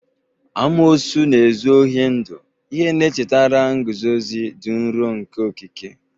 Amoosu na-ezu ohi ndụ, ihe na-echetara nguzozi dị nro nke okike.